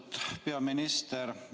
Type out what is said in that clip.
Austatud peaminister!